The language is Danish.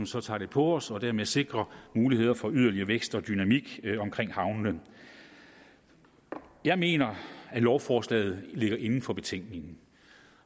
så tager på os og dermed sikrer muligheder for yderligere vækst og dynamik omkring havnene jeg mener at lovforslaget ligger inden for betænkningen